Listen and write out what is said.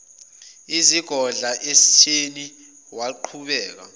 isizogadla esitheni waqhubeka